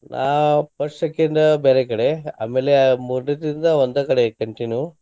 ನಾ first second ಬ್ಯಾರೆ ಕಡೆ ಆಮೇಲೆ ಆ ಮೂರನೇದಿಂದ್ದ ಒಂದ ಕಡೆ continue .